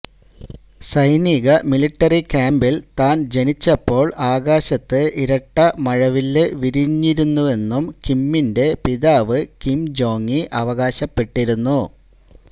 സൈനിക മിലിട്ടറി ക്യാമ്പിൽ താന് ജനിച്ചപ്പോൾ ആകാശത്ത് ഇരട്ട മഴവില് വിരിഞ്ഞിരുന്നെന്നും കിമ്മിന്റെ പിതാവ് കിം ജോങി അവകാശപ്പെട്ടിരുന്നു